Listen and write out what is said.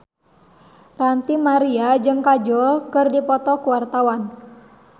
Ranty Maria jeung Kajol keur dipoto ku wartawan